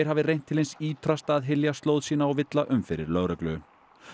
hafi reynt til hins ýtrasta að hylja slóð sína og villa um fyrir lögreglu